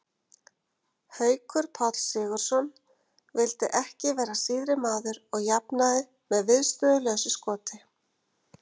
Haukur Páll Sigurðsson vildi ekki vera síðri maður og jafnaði með viðstöðulausu skoti.